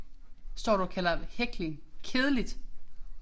Står du og kalder hækling kedeligt?